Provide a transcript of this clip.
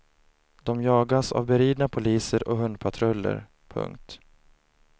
De jagas av beridna poliser och hundpatruller. punkt